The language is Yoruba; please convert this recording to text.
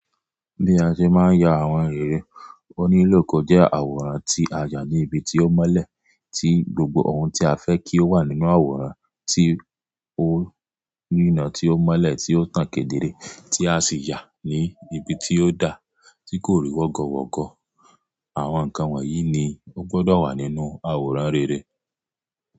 Bí a ṣe máa ń ya àwọn rere oníléòkè jẹ́ àwòrán tí a yà ní ibi tí ó mọ́lẹ̀, tí gbogbo ohun tí a fẹ́ kí ó wà nínú àwòrán, tí ó nínà tí ó mọ́lẹ̀ tí ó tàn kéde re tí a sì yà ní ibi tí ó da, tí kò rí wọ́gọ wọ́gọ̀. Àwọn nǹkan wọ̀nyí ni ó gbọ́dọ̀ wà nínú àwòrán rere.